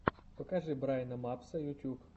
покажи брайна мапса ютюб